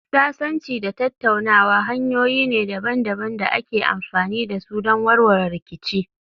Sasanci da tattaunawa hanyoyi ne daban-daban da ake amfani da su don warware rikici.